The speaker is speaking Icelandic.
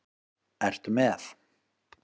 Ertu með?